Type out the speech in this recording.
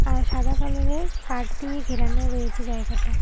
আর সাদা কালারের কাঠ দিয়ে ঘেরানো রয়েছে জায়গাটা।